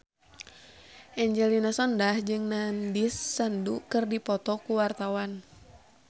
Angelina Sondakh jeung Nandish Sandhu keur dipoto ku wartawan